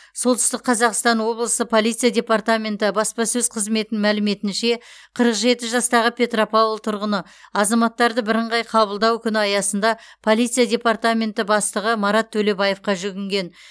солтүстік қазақстан облысы полиция департаменті баспасөз қызметінің мәліметінше қырық жеті жастағы петропавл тұрғыны азаматтарды бірыңғай қабылдау күні аясында полиция департаменті бастығы марат төлебаевқа жүгінген